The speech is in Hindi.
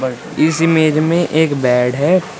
इस इमेज में एक बेड है।